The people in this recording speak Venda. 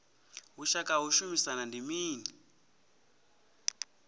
vhushaka ha u shumisana ndi mini